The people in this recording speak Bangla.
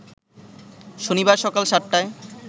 শনিবার সকাল সাতটায়